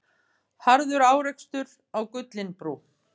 Harður árekstur á Gullinbrú